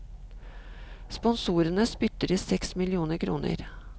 Sponsorene spytter i seks millioner kroner.